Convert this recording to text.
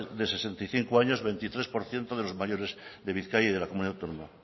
de sesenta y cinco años veintitrés por ciento de los mayores de bizkaia y de la comunidad autónoma